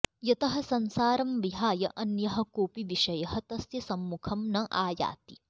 यतः संसारं विहाय अन्यः कोऽपि विषयः तस्य सम्मुखं न आयाति